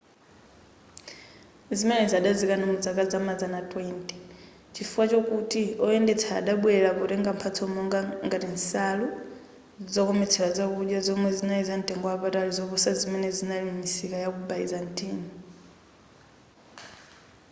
zimenezi adazikana mu zaka zamazana 20 chifukwa chokuti oyenda adabwelera potenga mphatso monga ngati nsalu zokometsera zakudya zomwe zinali za mtengo wapatali zoposa zimene zinali m'misika yaku byzantine